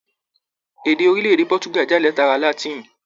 Èdè orilẹ-èdè Pọtuga jáde látara Látìnì.